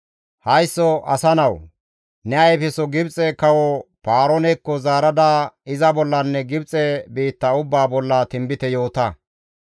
«Haysso asa nawu! Ne ayfeso Gibxe kawo Paaroonekko zaarada iza bollanne Gibxe biitta ubbaa bolla tinbite yoota.